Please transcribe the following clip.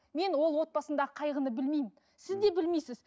мен ол отбасындағы қайғыны білмеймін сіз де білмейсіз